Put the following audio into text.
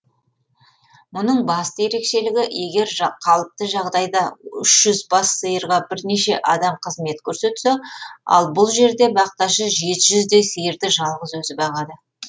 мұның басты ерекшелігі егер қалыпты жағдайда үш жүз бас сиырға бірнеше адам қызмет көрсетсе ал бұл жерде бақташы жеті жүздей сиырды жалғыз өзі бағады